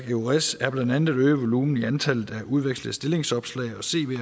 eures er blandt andet at øge voluminen i antallet af udvekslede stillingsopslag